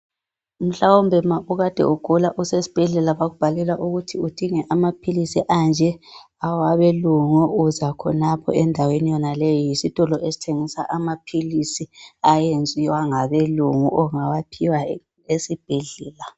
Mhlawumbe ma ukude ugula esibhedlela bakubhalela ukuthi udinge amaphilisi anje awabelungu. Uzakhonapho endaweni yonale yisitolo esithengisa amaphilisa ayenziwa ngabelungu ongawaphiwa esibhedlela.